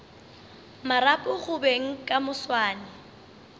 marapo go beng ka moswane